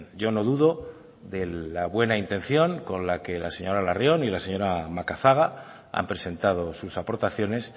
yo no dudo de la buena intención con la que la señora larrion y la señora macazaga han presentado sus aportaciones